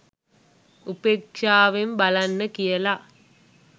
උපේක්ෂාවෙන් බලන්න කියල